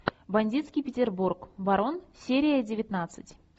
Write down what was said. бандитский петербург барон серия девятнадцать